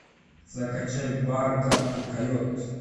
закачай бар гадкий койот